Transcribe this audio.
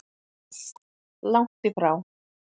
Langt í frá.